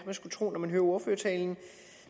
skulle tro når man hører ordførertalen